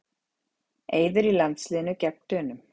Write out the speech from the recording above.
Eiður í landsliðinu gegn Dönum